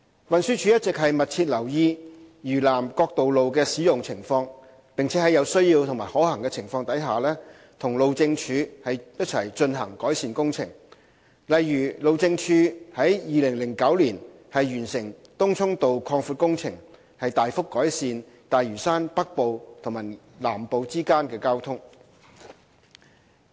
運輸署一直密切留意嶼南各道路的使用情況，並在有需要及可行時，和路政署進行改善工程，例如路政署於2009年完成東涌道擴闊工程，大幅改善大嶼山北部和南部之間的交通。